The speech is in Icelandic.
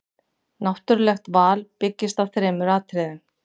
Náttúrulegt val byggist á þremur atriðum.